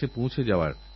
নিরাশহয়ো না হারেতে